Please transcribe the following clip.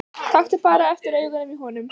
Taktu bara eftir augunum í honum.